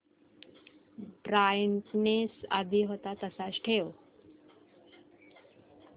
brightness आधी होता तसाच ठेव